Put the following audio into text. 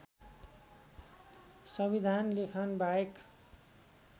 संमविधान लेखन बाहेक